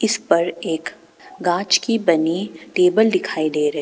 इस पर एक कांच की बनी टेबल दिखाई दे रही--